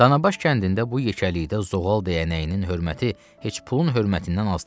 Danabaş kəndində bu yekəlikdə zoğal dəyənəyinin hörməti heç pulun hörmətindən az deyil.